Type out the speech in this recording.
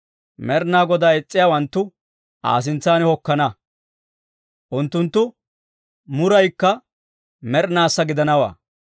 Med'inaa Godaa is's'iyaawanttu Aa sintsan hokkana, unttunttu muruukka med'inaassa gidanawaa.